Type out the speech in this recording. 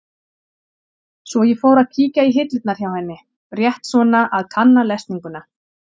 Svo ég fór að kíkja í hillurnar hjá henni, rétt svona að kanna lesninguna.